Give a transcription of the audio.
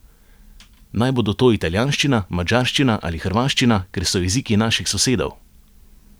Naj bodo to italijanščina, madžarščina ali hrvaščina, ker so jeziki naših sosedov?